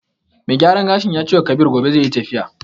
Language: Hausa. Mai gyaran gashin ya cewa Kabir gobe zai yi tafiya.